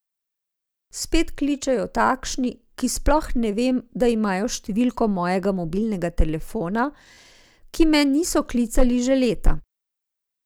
Spet kličejo takšni, ki sploh ne vem, da imajo številko mojega mobilnega telefona, ki me niso klicali že leta ...